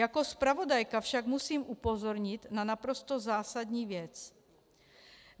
Jako zpravodajka však musím upozornit na naprosto zásadní věc.